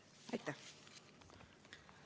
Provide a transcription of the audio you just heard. Aitäh!